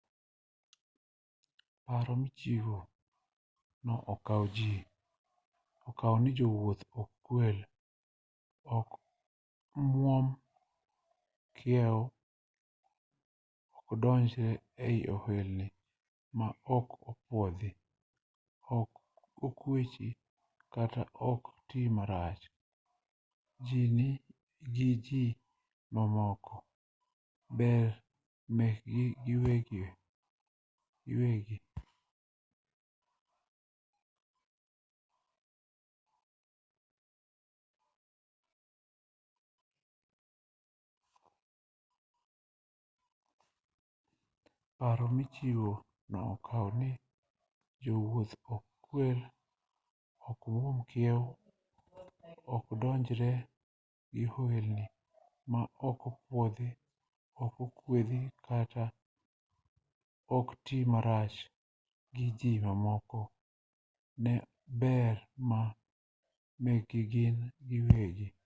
paro michiwo no okao ni jowuoth ok kwel ok mwuom kiew okdonjre e ohelni ma ok opuodhi ok kwechi kata ok tii marach gi ji mamoko ne ber ma mekgi gin giwegi